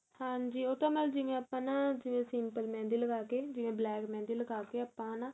ਹਾਂਜੀ ਉਹ ਤਾਂ ਮੇਂ ਜਿਵੇਂ ਆਪਾਂ ਨਾ ਜਿਵੇਂ simple mehendi ਲਗਾ ਕੇ ਜਿਵੇਂ black mehendi ਲਗਾ ਕੇ ਆਪਾਂ ਹਨਾ